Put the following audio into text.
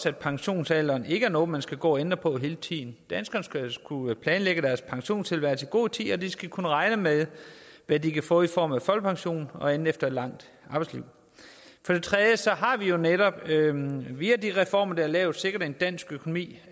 at pensionsalderen ikke er noget man skal gå og ændre på hele tiden danskerne skal kunne planlægge deres pensionstilværelse i god tid og de skal kunne regne med hvad de kan få i form af folkepension og andet efter et langt arbejdsliv for det tredje har vi jo netop via de reformer der er lavet sikret at dansk økonomi